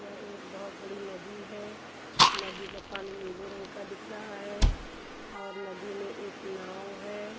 एक बहोत बड़ी नदी है नदी का पानी नीले रंग का दिख रहा है और नदी में एक नाव है।